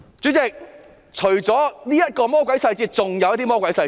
主席，除了這個魔鬼細節，還有其他的魔鬼細節。